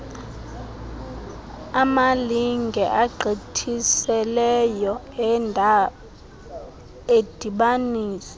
amalinge agqithiseleyo endibaniso